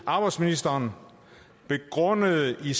arbejdsministeren begrundede i